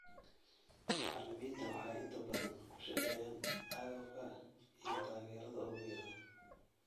Macallimiinta waxay inta badan ku shaqeeyaan agabka iyo taageerada ugu yar.